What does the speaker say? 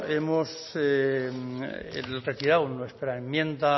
hemos retirado nuestra enmienda